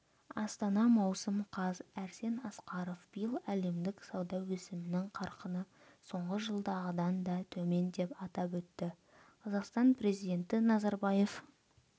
астана маусым қаз арсен асқаров биыл әлемдік сауда өсімінің қарқыны соңғы жылдағыдан да төмен деп атап өтті қазақстан президенті назарбаев